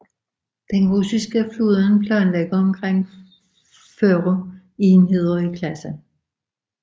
Den russiske flåde planlægger omkring 40 enheder i klassen